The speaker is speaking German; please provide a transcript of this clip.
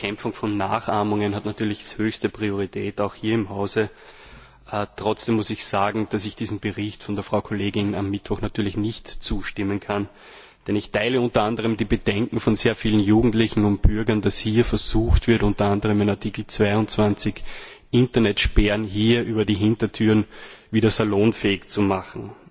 Die Bekämpfung von Nachahmungen hat natürlich höchste Priorität, auch hier im Hause. Trotzdem muss ich sagen, dass ich diesem Bericht der Kollegin am Mittwoch natürlich nicht zustimmen kann, denn ich teile unter anderem die Bedenken von sehr vielen Jugendlichen und Bürgern, dass hier versucht wird unter anderem in Artikel 22 Internetsperren durch die Hintertür wieder salonfähig zu machen.